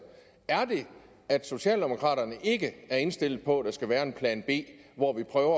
er det at socialdemokraterne ikke er indstillet på at der skal være en plan b hvor vi prøver